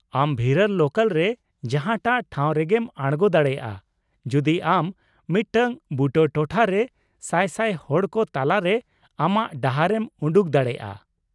ᱟᱢ ᱵᱷᱤᱨᱟᱨ ᱞᱳᱠᱟᱞ ᱨᱮ ᱡᱟᱦᱟᱸᱴᱟᱜ ᱴᱷᱟᱣ ᱨᱮᱜᱮᱢ ᱟᱲᱜᱚ ᱫᱟᱲᱮᱭᱟᱜᱼᱟ ᱡᱩᱫᱤ ᱟᱢ ᱢᱤᱫᱴᱟᱝ ᱵᱩᱴᱟᱹ ᱴᱚᱴᱷᱟ ᱨᱮ ᱥᱟᱭ ᱥᱟᱭ ᱦᱚᱲ ᱠᱚ ᱛᱟᱞᱟᱨᱮ ᱟᱢᱟᱜ ᱰᱟᱦᱟᱨ ᱮᱢ ᱩᱰᱩᱠ ᱫᱟᱲᱮᱭᱟᱜᱼᱟ ᱾